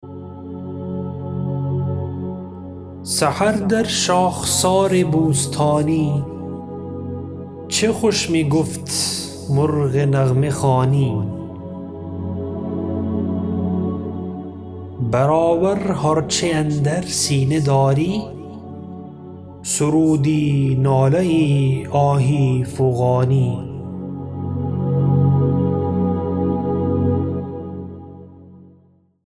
سحر در شاخسار بوستانی چه خوش میگفت مرغ نغمه خوانی بر آور هر چه اندر سینه داری سرودی ناله یی آهی فغانی